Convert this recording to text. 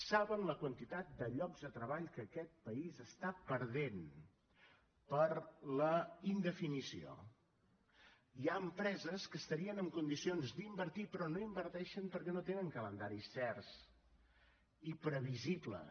saben la quantitat de llocs de treball que aquest país està perdent per la indefinició hi ha empreses que estarien en condicions d’invertir hi però no hi inverteixen perquè no tenen calendaris certs ni previsibles